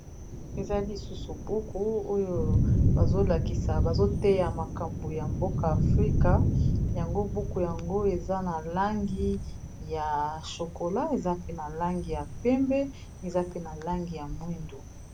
Eza lisusu buku oyo bazolakisa bazoteya makambo ya mboka afrika yango buku yango eza na langi ya shokola eza pe na langi ya pembe eza pe na langi ya mwindu.